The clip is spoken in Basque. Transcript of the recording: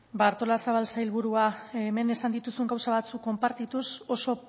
ba artolazabal sailburua hemen esan dituzun gauza batzuk konpartituz oso